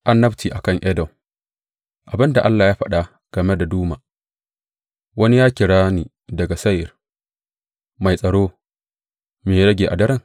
Annabci a kan Edom Abin da Allah ya faɗa game da Duma, Wani ya kira ni daga Seyir, Mai tsaro, me ya rage a daren?